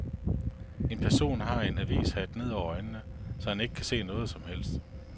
En person har en avishat ned over øjnene, så han ikke kan se noget som helst.